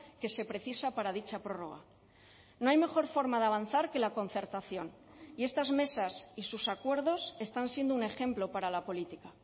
que se precisa para dicha prórroga no hay mejor forma de avanzar que la concertación y estas mesas y sus acuerdos están siendo un ejemplo para la política